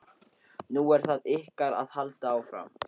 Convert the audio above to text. Nú er það ykkar að halda áfram.